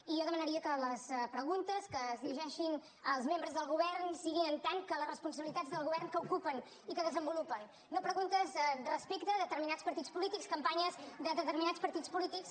i jo demanaria que les preguntes que es dirigeixin als membres del govern siguin en tant que les responsabilitats del govern que ocupen i que desenvolupen no preguntes respecte a determinats partits polítics campanyes de determinats partits polítics